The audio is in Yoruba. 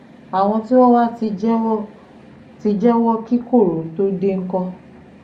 àwọn tí wọ́n wàá ti jẹ́wọ́ ti jẹ́wọ́ kí koro tóo dé ńkọ́